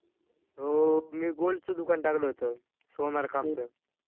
अहो! मी gold च दुकान टाकल होत सोनार कामच